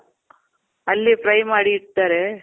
ಅಲ್ಲೇ fry ಮಾಡಿ ಇರ್ತಾರೆ.